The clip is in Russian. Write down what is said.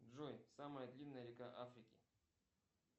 джой самая длинная река африки